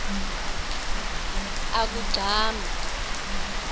akugcame